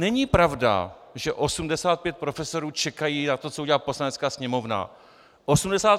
Není pravda, že 85 profesorů čeká na to, co udělá Poslanecká sněmovna.